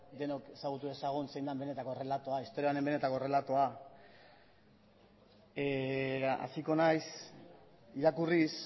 denok ezagutu dezagun zein den benetako errelatoa historia honen benetako errelatoa hasiko naiz irakurriz